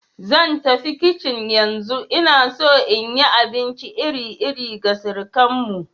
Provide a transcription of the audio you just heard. Zan tafi kicin yanzu, ina so in yi abinci iri-iri ga surukanmu.